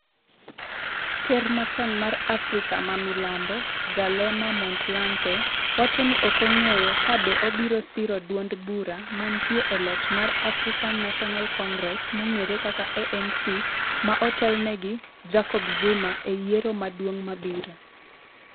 Ker machon mar Afrika ma milambo Kgalema Motlanthe, wacho ni ok ong'eyo ka be obiro siro duond bura mantie e loch mar African National Congress-ANC ma otelne gi Jacob Zuma, e yiero maduong' mabiro.